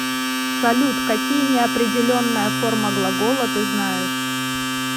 салют какие неопределенная форма глагола ты знаешь